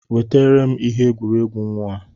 Wetara m ihe egwuregwu nwa a!